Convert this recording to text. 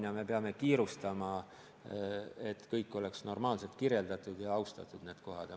Ja me peame kiirustama, et kõik oleks normaalselt kirjeldatud ja neid kohti austataks.